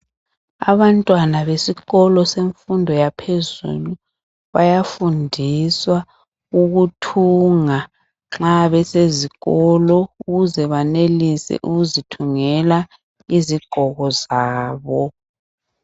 Abantwana besikolo semfundo yaphezulu bayafundiswa ukuthunga nxa besezikolo ukuze benelise ukuzithungela izigqoko zabo.